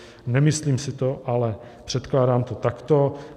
Nemyslím si to, ale předkládám to takto.